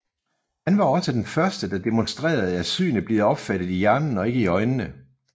Han var også den første der demonstrerede at synet bliver opfattet i hjernen og ikke i øjnene